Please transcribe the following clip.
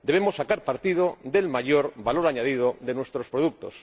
Debemos sacar partido del mayor valor añadido de nuestros productos.